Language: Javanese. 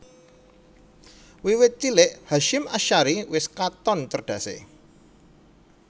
Wiwit cilik Hasyim Asy ari wis katon cerdasé